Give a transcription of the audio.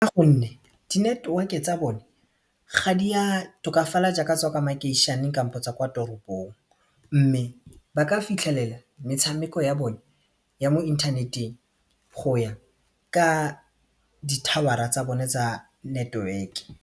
Gonne di-network-e tsa bone ga di ya tokafala jaaka tswa kwa makeišeneng kampo tsa kwa toropong mme ba ka fitlhelela metshameko ya bone ya mo inthaneteng go ya ka di-tower-a tsa bone tsa network.